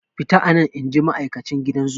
Fita anan!inji ma'aikacin gidan zoo.